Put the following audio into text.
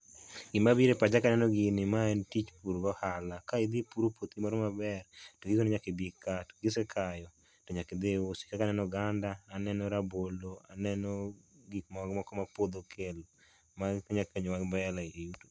Gimabiro e pacha kaneno gini, ma en tich pur gi ohala. Ka idhi ipuro puothi moro maber, to nyiso ni nyaka ibi ikaa, kisekayo to nyaka idhii iusi. Kaka aneno oganda, aneno rabolo, aneno gik moko ma puodho okelo ma nya konyowa mbele